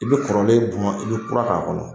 I bɛ kɔrɔlen bɔn i bɛ kura k'a kɔnɔ.